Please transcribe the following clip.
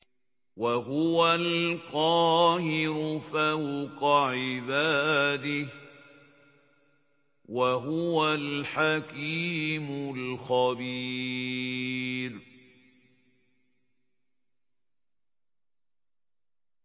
وَهُوَ الْقَاهِرُ فَوْقَ عِبَادِهِ ۚ وَهُوَ الْحَكِيمُ الْخَبِيرُ